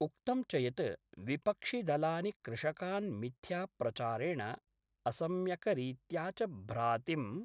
उक्तं च यत् विपक्षिदलानि कृषकान् मिथ्याप्रचारेण असम्यकरीत्या च भ्रातिं